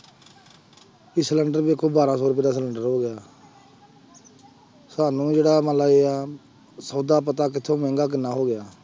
ਵੀ cylinder ਦੇਖੋ ਬਾਰਾਂ ਸੌ ਰੁਪਏ ਦਾ ਸਿਲੈਂਡਰ ਹੋ ਗਿਆ ਸਾਨੂੰ ਜਿਹੜਾ ਸੌਦਾ ਪੱਤਾ ਕਿੱਥੋਂ ਮਹਿੰਗਾ ਕਿੰਨਾ ਹੋ ਗਿਆ।